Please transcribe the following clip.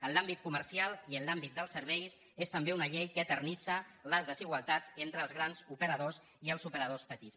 en l’àmbit comercial i en l’àmbit dels serveis és també una llei que eternitza les desigualtats entre els grans operadors i els operadors petits